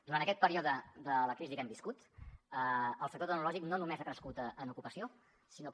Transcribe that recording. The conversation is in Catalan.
durant aquest període de la crisi que hem viscut el sector tecnològic no només ha crescut en ocupació sinó que